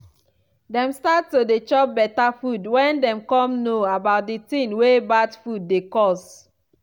dem start to dey chop better food when dem come know about di ting wey bad food dey cause